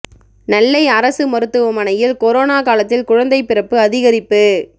நெல்லை அரசு மருத்துவமனையில் கொரோனா காலத்தில் குழந்தை பிறப்பு அதிகரிப்பு